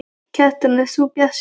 Kjartan: Ert þú bjartsýnn?